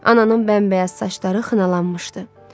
Ananın bəmbəyaz saçları xınalanmışdı.